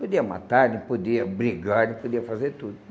Podia matar, daí podia brigar, daí podia fazer tudo.